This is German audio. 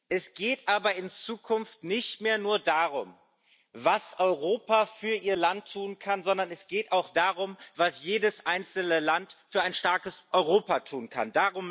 Es geht aber in Zukunft nicht mehr nur darum, was Europa für ihr Land tun kann, sondern es geht auch darum, was jedes einzelne Land für ein starkes Europa tun kann.